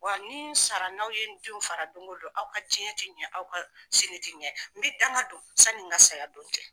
Wa ni sara n'aw ye n denw fara don ko don, aw ka diɲɛ tɛ ɲɛ aw ka sini tɛ ɲɛ, n bɛ danga don sani n ka saya don cɛ.